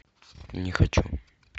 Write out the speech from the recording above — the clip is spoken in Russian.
не хочу